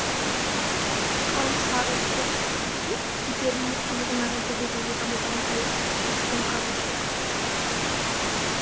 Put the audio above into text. қалың сары сұр кителін иығына желбегей жамылған күйі есіктен қарғып шыққан